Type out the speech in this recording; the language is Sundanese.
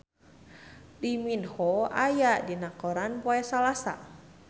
Lee Min Ho aya dina koran poe Salasa